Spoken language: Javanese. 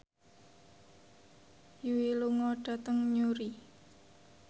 Yui lunga dhateng Newry